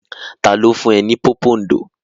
Ta ló fún ẹ ní pòpondò?